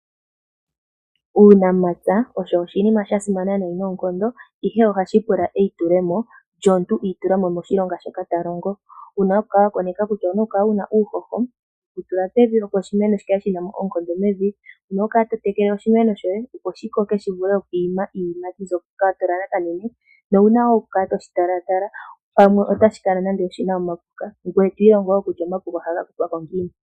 Uunamapya owo oshinima shasimana noonkondo ihe ohashi pula eyitulemo omuntu iitulamo moshilonga shoka ta longo. Omuntu okuna oku kala ena uuhoho wokutula poshimeno, opo shi tuleko iiyimati mbyoka ahala. Okuna oku kala teshi tekele oshowo oku kala ta tala ngele kkuna omapuka nokwiilonga kutya omapuka ohaga kuthwa ko ngiini.